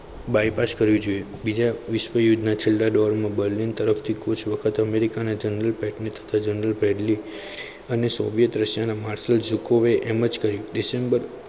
bypass કરવું જોઈએ બીજા વિશ્વયુદ્ધમાં છેલ્લા door માં berlin તરફથી કુછ વખત અમેરિકાના general padely તથા general pateny અને શોર્ય દ્રશ્યના marnesal એમ જ કહ્યું દીસેમ્બેર